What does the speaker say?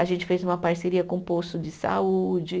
A gente fez uma parceria com o posto de saúde.